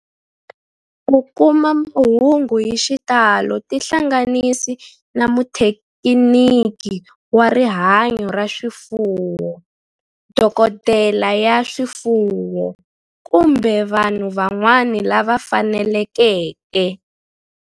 Ku kuma mahungu hi xitalo tihlanganisi na muthekiniki wa rihanyo ra swifuwo, dokodela ya swifuwo, kumbe vanhu van'wana lava fanelekeke.